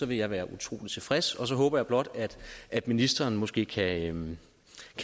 vil jeg være utrolig tilfreds og så håber jeg blot at ministeren måske kan